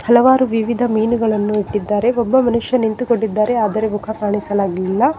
ಹಲವಾರು ವಿವಿಧ ಮೀನುಗಳನ್ನು ಇಟ್ಟಿದ್ದಾರೆ ಒಬ್ಬ ಮನುಷ್ಯ ನಿಂತುಕೊಂಡಿದ್ದಾರೆ ಆದರೆ ಮುಖ ಕಾಣಿಸಲಾಗಿಲ್ಲ.